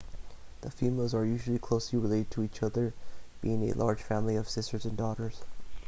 the females are usually closely related to each other being a large family of sisters and daughters